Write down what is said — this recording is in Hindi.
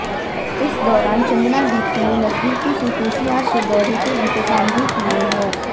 इस दौरान चंदना दीप्ति ने नजदीकी से केसीआर के दौरे के इंतजाम भी किये है